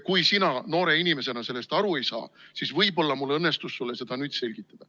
Kui sina noore inimesena sellest aru ei saa, siis võib-olla õnnestus mul sulle seda nüüd selgitada.